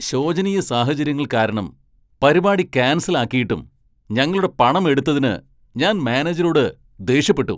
ശോചനീയ സാഹചര്യങ്ങൾ കാരണം പരിപാടി ക്യാൻസൽ ആക്കിയിട്ടും ഞങ്ങളുടെ പണം എടുത്തതിന് ഞാൻ മാനേജരോട് ദേഷ്യപ്പെട്ടു.